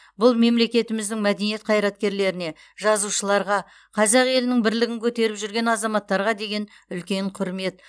бұл мемлекетіміздің мәдениет қайраткерлеріне жазушыларға қазақ елінің бірлігін көтеріп жүрген азаматтарға деген үлкен құрмет